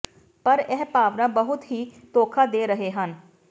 ਪਰ ਇਹ ਭਾਵਨਾ ਬਹੁਤ ਹੀ ਧੋਖਾ ਦੇ ਰਹੇ ਹਨ